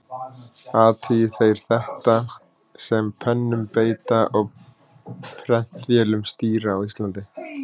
Athugi þeir þetta, sem pennum beita og prentvélum stýra á Íslandi.